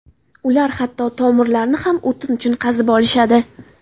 Ular hatto tomirlarni ham o‘tin uchun qazib olishadi.